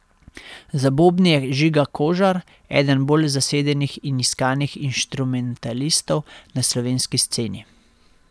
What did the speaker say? Za bobni je Žiga Kožar, eden bolj zasedenih in iskanih inštrumentalistov na slovenski sceni.